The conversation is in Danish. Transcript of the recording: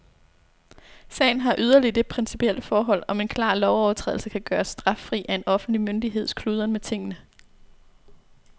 Sagen har yderligere det principielle indhold, om en klar lovovertrædelse kan gøres straffri af en offentlig myndigheds kludren med tingene.